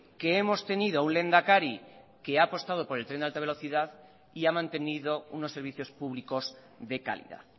que hemos tenido un lehendakari que ha apostado por el tren de alta velocidad y ha mantenido unos servicios públicos de calidad